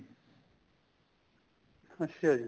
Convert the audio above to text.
ਅੱਛਾ ਜੀ